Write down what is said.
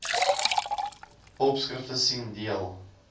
opskrifte sien deel